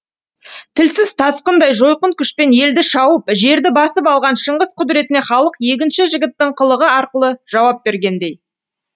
тілсіз тасқындай жойқын күшпен елді шауып жерді басып алған шыңғыс құдіретіне халық егінші жігіттің қылығы арқылы жауап бергендей